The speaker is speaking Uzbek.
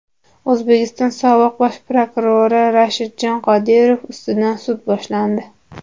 O‘zbekiston sobiq bosh prokurori Rashidjon Qodirov ustidan sud boshlandi.